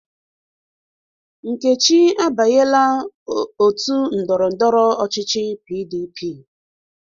Nkechi abanyela ótù ndọrọ ndọrọ ọchịchị PDP.